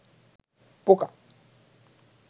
পোকা